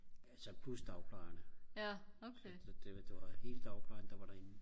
altså plus dagplejerne så så det det var hele dagplejen der var derinde